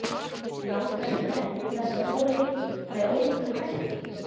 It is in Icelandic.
Nálgast menn þessa tvo leiki með ólíkum hætti?